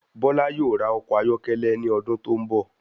Bọla yóò rà ọkọ ayọkẹlẹ ní ọdún tó n bọ